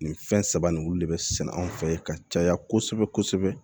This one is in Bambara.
Nin fɛn saba nin olu de be sɛnɛ anw fɛ ka caya kosɛbɛ kosɛbɛ